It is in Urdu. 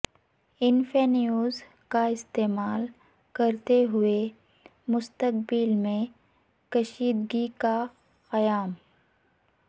انفینیوز کا استعمال کرتے ہوئے مستقبل میں کشیدگی کا قیام